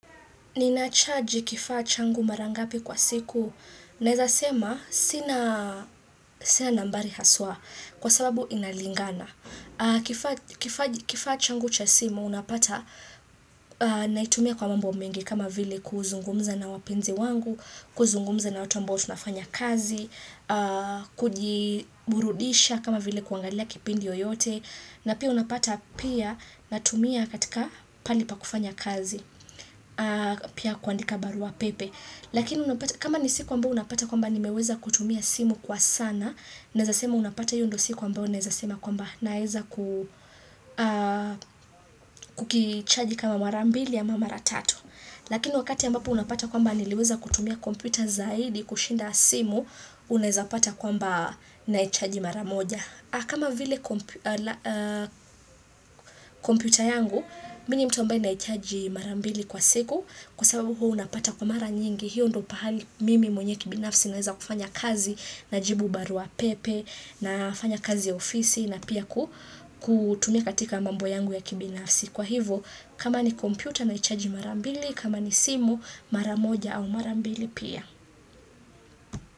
Ninachaji kifaa changu mara ngapi kwa siku? Naeza sema sina nambari haswa kwa sababu inalingana. Kifaa changu cha simu, unapata naitumia kwa mambo mengi kama vile kuzungumza na wapenzi wangu, kuzungumza na watu ambao tunafanya kazi, kujiburudisha kama vile kuangalia kipindi yoyote. Na pia unapata pia natumia katika pahali pa kufanya kazi. Pia kuandika barua pepe. Lakini kama ni siku ambao unapata kwamba nimeweza kutumia simu kwa sana, naeza sema unapata hiyo ndo siku ambayo unaeza sema kwamba naeza kukichaji kama mara mbili ya mara tatu. Lakini wakati ambapo unapata kwamba niliweza kutumia kompyuta zaidi kushinda simu, unaezapata kwamba naichaji mara moja. Kama vile kompyuta yangu, mimi ni mtu ambaye naichaji mara mbili kwa siku kwa sababu huwa unapata kwa mara nyingi. Hiyo ndo pahali mimi mwenyewe kibinafsi naweza kufanya kazi. Najibu barua pepe, nafanya kazi ofisi na pia kutumia katika mambo yangu ya kibinafsi. Kwa hivo, kama ni kompyuta naichaji mara mbili, kama ni simu mara moja au mara mbili pia.